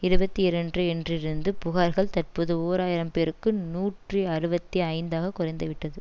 இருபத்தி இரண்ரு என்றிருந்து புகார்கள் தற்போது ஓர் ஆயிரம் பேருக்கு நூற்றி அறுபத்தி ஐந்து ஆக குறைந்துவிட்டது